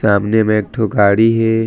सामने म एकठो गाड़ी हे।